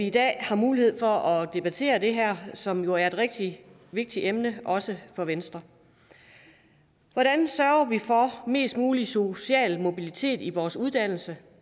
i dag har mulighed for at debattere det her som jo er et rigtig vigtigt emne også for venstre hvordan sørger vi for mest mulig social mobilitet i vores uddannelse